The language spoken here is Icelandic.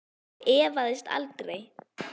Ég efaðist aldrei.